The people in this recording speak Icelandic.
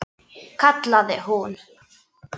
kallaði hún.